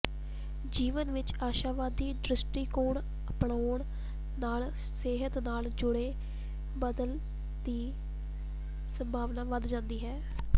ਜੀਵਨ ਵਿਚ ਆਸ਼ਾਵਾਦੀ ਦ੍ਰਿਸ਼ਟੀਕੋਣ ਅਪਣਾਉਣ ਨਾਲ ਸਿਹਤ ਨਾਲ ਜੁੜੇ ਬਦਲ ਦੀ ਸੰਭਾਵਨਾ ਵਧ ਜਾਂਦੀ ਹੈ